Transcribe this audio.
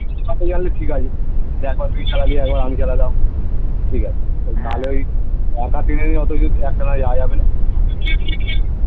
. ঠিক আছে একবার তুই চালালি একবার আমি চালালাম ঠিক আছে বাল ওই . একটানা যাওয়া যাবে না